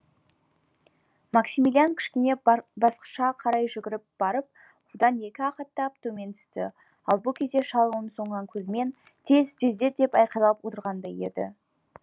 максимилиан кішкене басқышқа қарай жүгіріп барып одан екі ақ аттап төмен түсті ал бұ кезде шал оның соңынан көзімен тез тездет деп айқайлап отырғандай еді